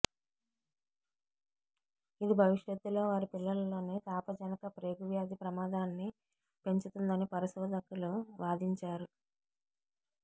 ఇది భవిష్యత్తులో వారి పిల్లలలో తాపజనక ప్రేగు వ్యాధి ప్రమాదాన్ని పెంచుతుందని పరిశోధకులు వాదించారు